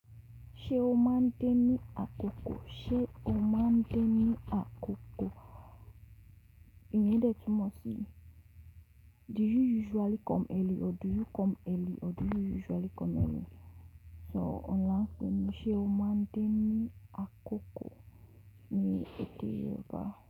Ṣé o máa ń dé ní àkókò? Ṣé o máa ń dé ní àkókò? Iyen de tumọ sí: do you usually come early or do you come early or do you usually come early? So, ọ́ la ń pé mí, sé o máa ń dé ní àkókò ni èdè Yorùbá.